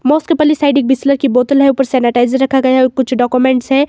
Side एक Bisleri की बोतल है। ऊपर सैनिटाइजर रखा गया और कुछ डाक्यूमेंट्स है।